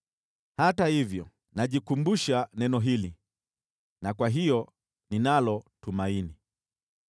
Hata hivyo najikumbusha neno hili na kwa hiyo ninalo tumaini.